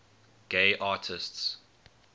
gay artists